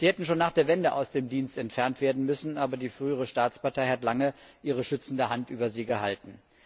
Sie hätten schon nach der Wende aus dem Dienst entfernt werden müssen, aber die frühere Staatspartei hat lange ihre schützende Hand über sie gehalten.